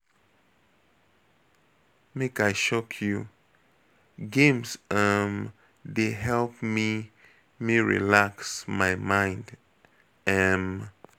Make I shock you, games um dey help me me relax my mind. um